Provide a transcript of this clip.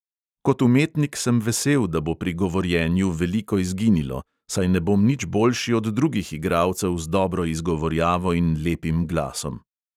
Kot umetnik sem vesel, da bo pri govorjenju veliko izginilo, saj ne bom nič boljši od drugih igralcev z dobro izgovarjavo in lepim glasom.